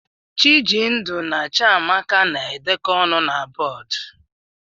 Chijindu na Chiamaka na-edekọ ọnụ na bọọdụ.